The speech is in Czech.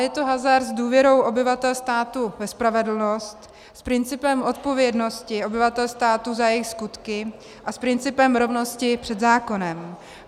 Je to hazard s důvěrou obyvatel státu ve spravedlnost, s principem odpovědnosti obyvatel státu za jejich skutky a s principem rovnosti před zákonem.